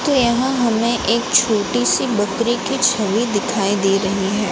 तो यहां हमें एक छोटी सी बकरी की छवि दिखाई दे रही है।